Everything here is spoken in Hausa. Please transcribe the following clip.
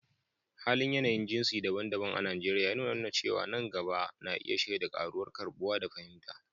Halin yanayin jinsi daban-daban a Najeriya yana nuna cewa nan gaba na iya shaida ƙaruwar karɓuwa da fahimta